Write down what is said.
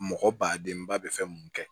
Mɔgɔ ba denba bɛ fɛn mun kɛ